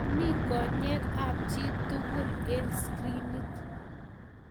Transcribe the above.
Komito konyek ab chii tugul eng skirinit